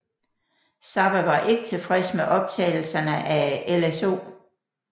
Zappa var ikke tilfreds med optagelserne af LSO